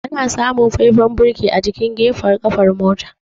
Ana samun faifan birki a jikin gafen kafar mota.